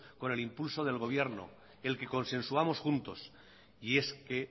con el impulso del gobierno el que consensuamos juntos y